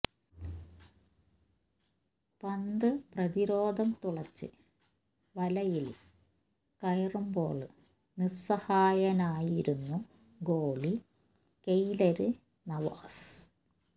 പന്ത് പ്രതിരോധം തുളച്ച് വലയില് കയറുമ്പോള് നിസ്സഹായനായിരുന്നു ഗോളി കെയ്ലര് നവാസ്